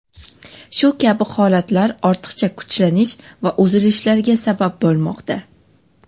Shu kabi holatlar ortiqcha kuchlanish va uzilishlarga sabab bo‘lmoqda.